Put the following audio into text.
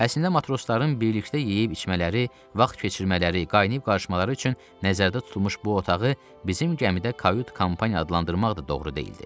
Əslində matrosların birlikdə yeyib içmələri, vaxt keçirmələri, qaynayıb-qarışmaları üçün nəzərdə tutulmuş bu otağı bizim gəmidə kavyd-kampaniya adlandırmaq da doğru deyildi.